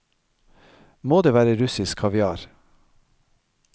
Må det være russisk kaviar?